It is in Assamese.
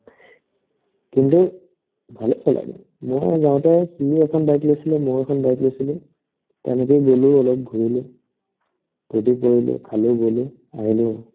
কিন্তু ভালে চলাই দেই মোৰ সৈতে যাওতে সিও এখন bike লৈছিলে ময়ো এখন bike লৈছিলো তেনেকে গ'লো অলপ ঘূৰিলো ফূৰ্তি কৰিলো খালো-বলো আহিলো